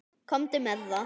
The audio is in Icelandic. Komdu með það!